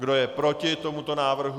Kdo je proti tomuto návrhu?